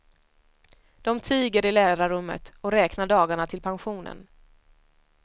De tiger i lärarrummet och räknar dagarna till pensionen.